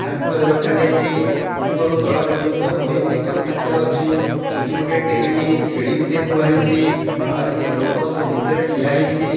ଥାକରେ ରଖାଯାଇଛି ଉପରୁ ତଳ ପର୍ଯ୍ୟନ୍ତ ବହି ଗୁଡ଼ିକ ଥାକରେ ଅଛି ଏଇଠି ଗୋଟେ ସିଡ଼ି ଗୋଟେ ଥୁଆହେଇଛି ଆହୁରି ଗୋଟେ ଲୋକ ସେ ଭିତରେ ଠିଆ ହେଇଛି।